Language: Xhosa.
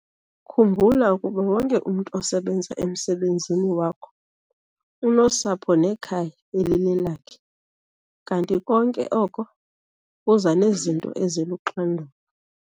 Khumbula ukuba wonke umntu osebenza emsebenzini wakho unosapho nekhaya elilelakhe kanti konke oko kuza nezinto eziluxanduva.